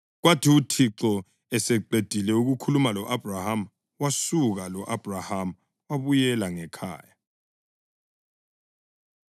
Kwathi uThixo eseqedile ukukhuluma lo-Abhrahama wasuka, lo-Abhrahama wabuyela ngekhaya.